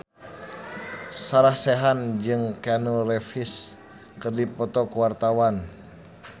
Sarah Sechan jeung Keanu Reeves keur dipoto ku wartawan